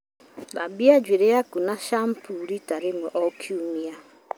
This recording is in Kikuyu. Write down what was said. Thambia njuĩrĩ yaku na shamkiumbuu rita rĩmwe o kiumia.